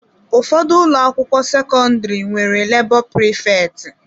Ụfọdụ ụlọ akwụkwọ sekọndrị nwere lebo prifeti.